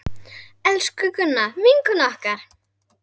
Elsku Gunna, vinkona okkar!